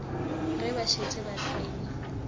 ge ba šetše ba tsene